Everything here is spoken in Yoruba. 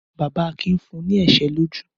Bàbá Akin fún ní ẹ̀ṣẹ́ lójú?